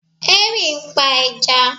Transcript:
Henry ń pa ẹja